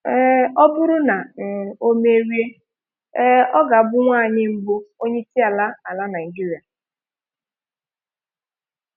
um Ọ bụrụ na um o merie, um ọ ga-abụ nwanyị mbụ onye isi ala ala Naijiria.